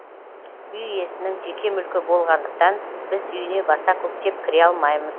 үй иесінің жеке мүлкі болғандықтан біз үйіне баса көктеп кіре алмаймыз